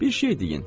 Bir şey deyin.